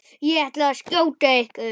Ég ætla að skjóta ykkur!